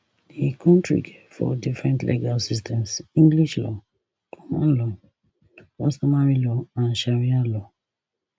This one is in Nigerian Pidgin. di kontri get four different legal systems english law common law customary law and sharia law